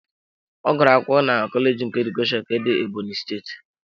Ọ gụrụ akwụkwọ na kọleji nke Edukeshọn nke dị Ebonyi steeti.